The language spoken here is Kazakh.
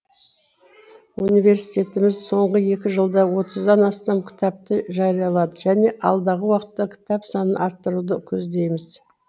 университетіміз соңғы екі жылда отыздан астам кітапты жариялады және алдағы уақытта кітап санын арттыруды көздейміз